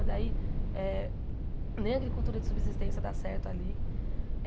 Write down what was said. Daí eh em a agricultura de subsistência dá certo ali.